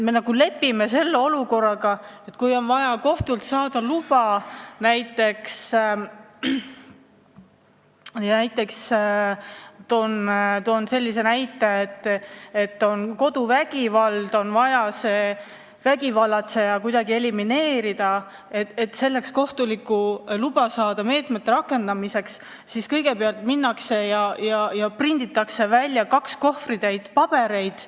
Me nagu lepime olukorraga, et kui on vaja kohtult saada luba rakendada meetmeid näiteks selleks, et kodus vägivallatseja kuidagi elimineerida, siis kõigepealt prinditakse välja kaks kohvritäit pabereid.